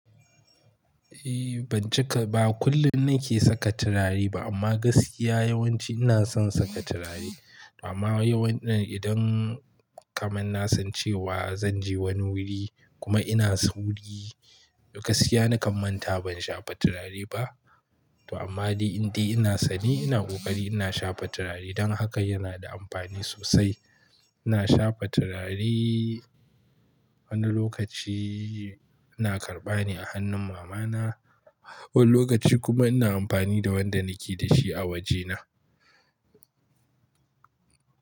Ehh, ban cika ba. Ba kullum nake saka turare ba amma gaskiya yawanci ina son saka turare. Amma yawan idan kaman na san cewa zan je wani wuri kuma ina sauri, gaskiya na kammanta ban shafa turare ba. To amma dai, in dai ina sane ina ƙoƙari ina shafa turare don haka yana da amfani sosai. Ina shafa turare wani lokaci ina karɓa ne a hannun mama na, wani lokaci kuma ina amfani da wanda nake da shi a waje na.